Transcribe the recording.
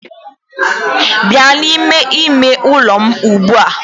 Bịa n'ime ime ụlọ m ugbu a!